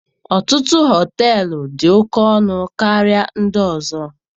Ọtụtụ họteelu dị oke ọnụ karịa ndị ọzọ.